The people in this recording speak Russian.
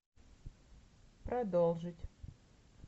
продолжить